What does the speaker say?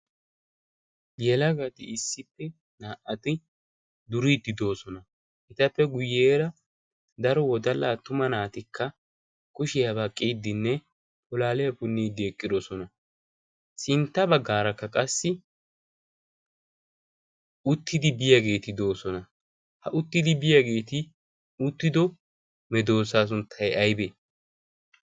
gelaagaati issippe naa'ati duriiddi doosona. etappe guyyeera daro wodallaa tuma naatikka kushiyaabaa qiiddinne polaaliyaa punniiddi eqqidosona sintta baggaarakka qassi uttidi biyaageeti doosona. ha uttidi biyaageeti uttido medoosaa sunttay aibe?